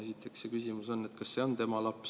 Esiteks on küsimus, kas see on tema laps.